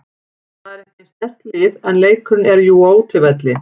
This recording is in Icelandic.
Það er ekki eins sterkt lið en leikurinn er jú á útivelli.